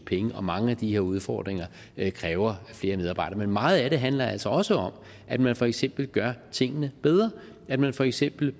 penge og mange af de her udfordringer kræver flere medarbejdere men meget af det handler altså også om at man for eksempel gør tingene bedre at man for eksempel